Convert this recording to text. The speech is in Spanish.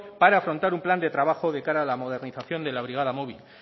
para afrontar un plan de trabajo de cara a la modernización de la brigada móvil